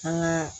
An ka